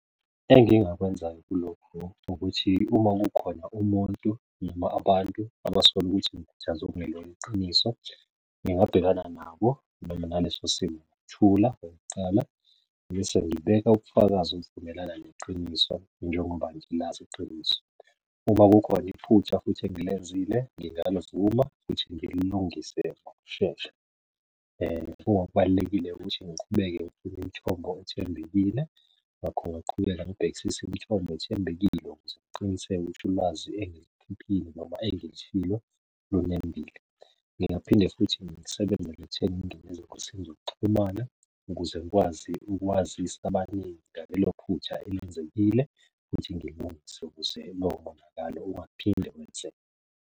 Engingakwenza kulokhu ukuthi uma kukhona umuntu noma abantu abasola ukuthi ngikhuthaze okungelona iqiniso, ngingabhekana nabo noma ngalesosimo ngokuthula okokuqala. Mese ngibeka ubufakazi obuvumelana neqiniso njengoba ngilazi iqiniso. Uma kukhona iphutha futhi engilenzile, ngingalivuma futhi ngililungise ngokushesha kubalulekile ukuthi ngiqhubeke ngibe umthombo othembekile. Ngakho ngingaqhubeka ngibhekisise imithombo ethembekile ukuze qiniseka ukuthi ulwazi engilikhiphile noma engilishilo lunembile. Ngingaphinde futhi ngisebenzele ekutheni ngingene ezingosini zokuxhumana ukuze ngikwazi ukwazisa abaningi ngalelo phutha elenzekile futhi ngilungise ukuze lo monakalo ungaphinde wenzeke.